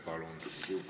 Palun!